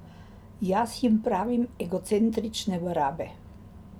Jaz jim pravim egocentrične barabe.